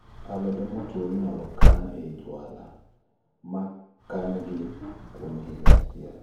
Alode motuo inyalo kani e jwala mi kangi kuom higa achiel